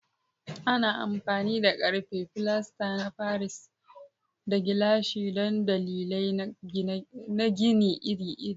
Ana amfani da ƙarfe, filasta na Paris, da gilashi don dalilai na gini iri-iri.